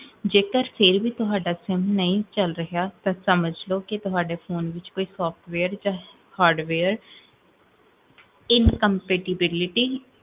ਜੇਕਰ, ਫੇਰ ਵੀ ਤੁਹਾਡਾ ਖੂਨ ਨਹੀ ਚਲੇਹਾ, ਤਾਂ ਸਮਝ ਲੋ, ਕੀ ਤੁਹਾਡੇ ਫੋਨ ਵਿੱਚ ਕੋਈ software ਜਾ hardware incompatibility